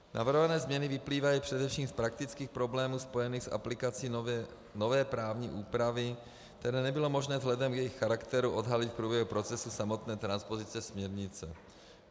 Navrhované změny vyplývají především z praktických problémů spojených s aplikací nové právní úpravy, které nebylo možné vzhledem k jejich charakteru odhalit v průběhu procesu samotné transpozice směrnice.